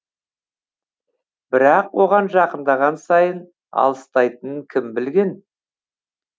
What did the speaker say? бірақ оған жақындаған сайын алыстайтынын кім білген